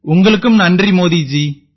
உங்களுக்கும் நன்றி மோதி ஜி